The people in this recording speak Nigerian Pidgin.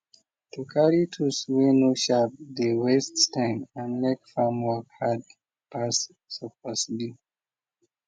to carry tools way no sharp dey waste time and make farm work hard passe suppose be